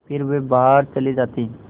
फिर वह बाहर चले जाते